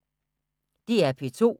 DR P2